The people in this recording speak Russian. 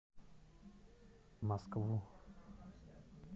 москву